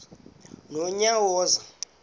nonyawoza